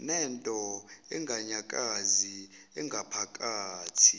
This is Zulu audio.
nento enganyakazi engaphakathi